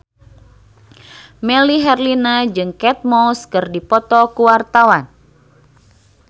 Melly Herlina jeung Kate Moss keur dipoto ku wartawan